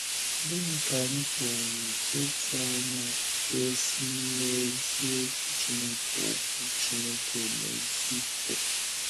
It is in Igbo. Gịnị ka anyị pụrụ ịtụ anya ga - esi n’imezi Okwu Chineke Okwu Chineke émezi pụta?